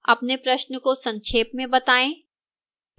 अपने प्रश्न को संक्षेप में बताएं